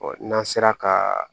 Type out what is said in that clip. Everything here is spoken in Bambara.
n'an sera ka